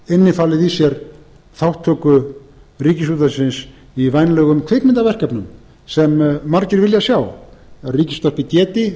innifalið í sér þátttöku ríkisútvarpsins í vænlegum kvikmyndaverkefnum sem margir vilja sjá að ríkisútvarpið geti